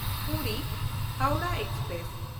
ᱯᱩᱨᱤ–ᱦᱟᱣᱲᱟᱦ express